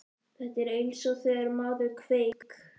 Þetta er eins og þegar maður kveik